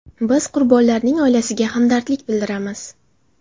Biz qurbonlarning oilasiga hamdardlik bildiramiz.